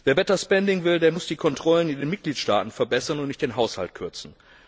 Wer better spending will, muss die Kontrollen in den Mitgliedstaaten verbessern und nicht den Haushalt kürzen.